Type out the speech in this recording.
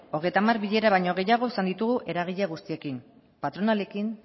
hogeita hamar bilera baino gehiago izan ditugu eragile guztiekin patronalarekin